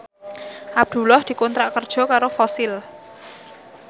Abdullah dikontrak kerja karo Fossil